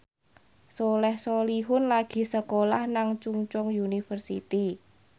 Soleh Solihun lagi sekolah nang Chungceong University